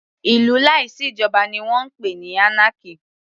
Ìlú láì sí ìjoba ni wọ́n ń pè anarchy.